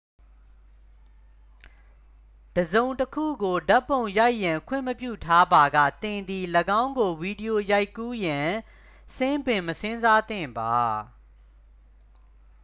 တစ်စုံတစ်ခုကိုဓာတ်ပုံရိုက်ရန်ခွင့်မပြုထားပါက သင်သည် ၎င်းကို ဗီဒီယိုရိုက်ကူးရန် စဉ်းပင်မစဉ်းစားသင့်ပါ